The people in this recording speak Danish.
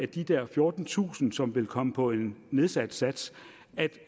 de der fjortentusind som vil komme på en nedsat sats